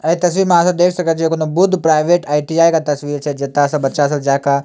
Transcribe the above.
ए तस्वीर में आहां सब देख सकय छीये कूनू बुद्ध प्राइवेट आई.टी.आई. के तस्वीर छै जता सब बच्चा सब जाय के --